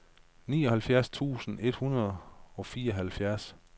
nioghalvfjerds tusind et hundrede og fireoghalvfjerds